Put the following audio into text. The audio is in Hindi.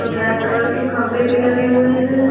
ब्लैक कलर के खंभे भी लगे हुए हैं।